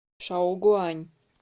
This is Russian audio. шаогуань